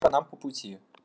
нам по пути